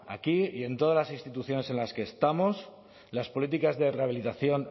aquí y en todas las instituciones en las que estamos las políticas de rehabilitación